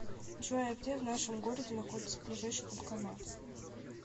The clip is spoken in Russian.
джой а где в нашем городе находится ближайший банкомат